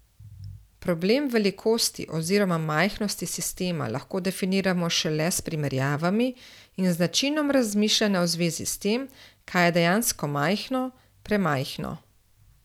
Problem velikosti oziroma majhnosti sistema lahko definiramo šele s primerjavami in z načinom razmišljanja v zvezi s tem, kaj je dejansko majhno, premajhno.